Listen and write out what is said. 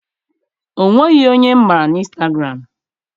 O nweghị onye m ma na instagụram.